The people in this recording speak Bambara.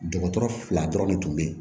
Dɔgɔtɔrɔ fila dɔrɔn ne tun bɛ yen